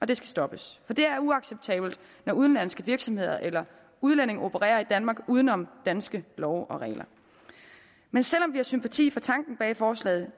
det skal stoppes for det er uacceptabelt når udenlandske virksomheder eller udlændinge opererer i danmark uden om danske love og regler men selv om vi har sympati for tanken bag forslaget